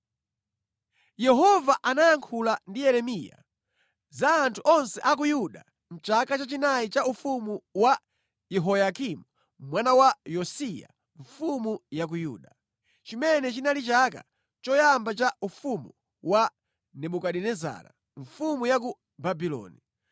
Yehova anayankhula ndi Yeremiya za anthu onse a ku Yuda mʼchaka chachinayi cha ufumu wa Yehoyakimu mwana wa Yosiya mfumu ya ku Yuda, chimene chinali chaka choyamba cha ufumu wa Nebukadinezara mfumu ya ku Babuloni.